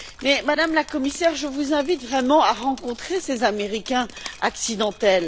Mais, Madame la Commissaire, je vous invite vraiment à rencontrer ces Américains accidentels.